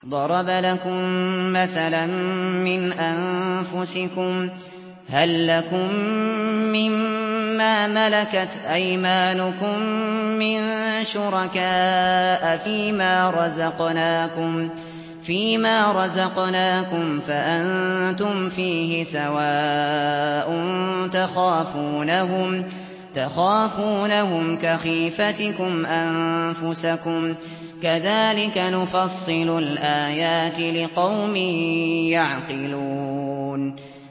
ضَرَبَ لَكُم مَّثَلًا مِّنْ أَنفُسِكُمْ ۖ هَل لَّكُم مِّن مَّا مَلَكَتْ أَيْمَانُكُم مِّن شُرَكَاءَ فِي مَا رَزَقْنَاكُمْ فَأَنتُمْ فِيهِ سَوَاءٌ تَخَافُونَهُمْ كَخِيفَتِكُمْ أَنفُسَكُمْ ۚ كَذَٰلِكَ نُفَصِّلُ الْآيَاتِ لِقَوْمٍ يَعْقِلُونَ